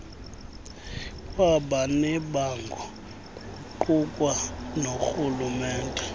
kwabanebango kuqukwa norhulumente